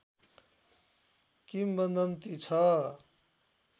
किम्वदन्ति छ